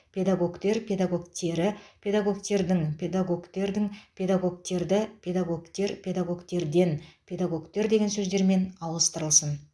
педагогтер педагогтері педагогтердің педагогтердің педагогтерді педагогтер педагогтерден педагогтер деген сөздермен ауыстырылсын